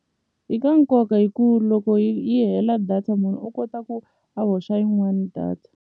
I ka nkoka hi ku loko yi yi hela data munhu u kota ku a hoxa yin'wani data.